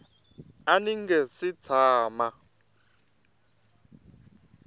a ndzi nga si tshama